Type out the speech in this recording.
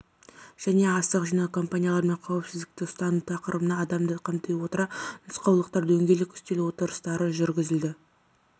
және астық жинау кампанияларымен қауіпсіздікті ұстану тақырыбына адамды қамти отыра нұсқаулықтар дөңгелек үстел отырыстары жүргізілді